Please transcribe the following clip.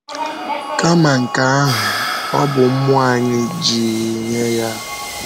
Kama nke ahụ, ọ bụ mmụọ anyị ji nye ya.